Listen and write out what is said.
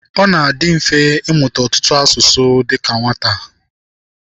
Ọ na-adị mfe ịmụta ọtụtụ asụsụ dịka nwata.